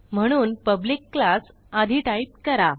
म्हणून public class आधी type करा